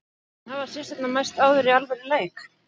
En hafa systurnar mæst áður í alvöru leik?